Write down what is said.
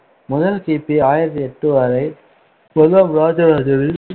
முதல் கி பி ஆயிரத்தி எட்டு வரை, முதலாம் ராஜராஜனின்